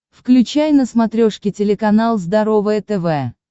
включай на смотрешке телеканал здоровое тв